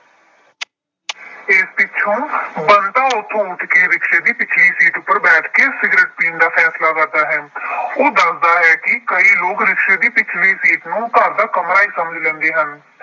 ਇਸ ਪਿੱਛੋਂ ਬੰਤਾ ਉੱਥੋ ਉੱਠ ਕੇ ਰਿਕਸ਼ੇ ਦੀ ਪਿਛਲੀ ਸੀਟ ਉੱਪਰ ਬੈਠ ਕੇ ਸਿਗਰਟ ਪੀਣ ਦਾ ਫੈਸਲਾ ਕਰਦਾ ਹੈ। ਉਹ ਦੱਸਦਾ ਹੈ ਕਿ ਕਈ ਲੋਕ ਰਿਕਸ਼ੇ ਦੀ ਪਿਛ਼ਲੀ ਸੀਟ ਨੂੰ ਘਰ ਦਾ ਕਮਰਾ ਹੀ ਸਮਝ ਲੈਂਦੇ ਹਨ।